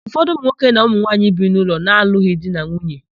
Ụfọdụ ụmụnwoke na ụmụnwaanyi bi n'ụlọ na-alụghị di na nwunye.